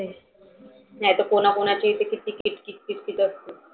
नाहितर कोणा कोणाचे ते किती किट किट असते.